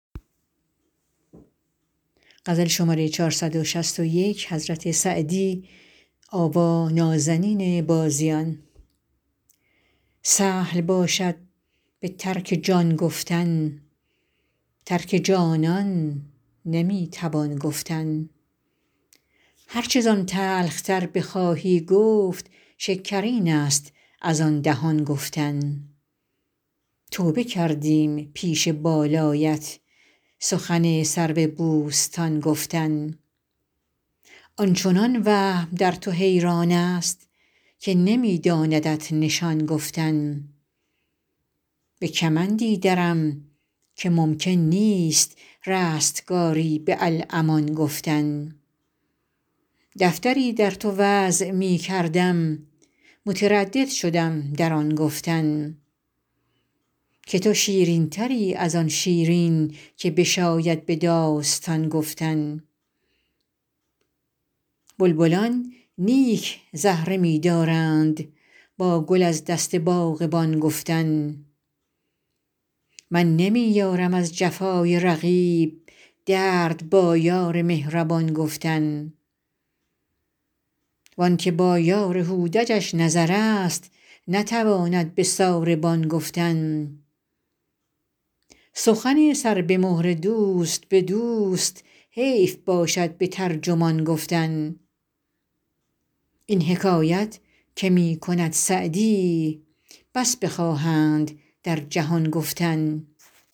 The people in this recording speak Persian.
سهل باشد به ترک جان گفتن ترک جانان نمی توان گفتن هر چه زان تلخ تر بخواهی گفت شکرین است از آن دهان گفتن توبه کردیم پیش بالایت سخن سرو بوستان گفتن آن چنان وهم در تو حیران است که نمی داندت نشان گفتن به کمندی درم که ممکن نیست رستگاری به الامان گفتن دفتری در تو وضع می کردم متردد شدم در آن گفتن که تو شیرین تری از آن شیرین که بشاید به داستان گفتن بلبلان نیک زهره می دارند با گل از دست باغبان گفتن من نمی یارم از جفای رقیب درد با یار مهربان گفتن وان که با یار هودجش نظر است نتواند به ساربان گفتن سخن سر به مهر دوست به دوست حیف باشد به ترجمان گفتن این حکایت که می کند سعدی بس بخواهند در جهان گفتن